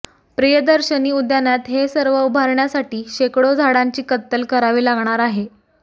प्रियदर्शनी उद्यानात हे सर्व उभारण्यासाठी शेकडो झाडांची कत्तल करावी लागणार आहे